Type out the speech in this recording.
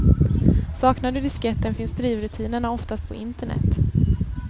Saknar du disketten finns drivrutinerna oftast på internet.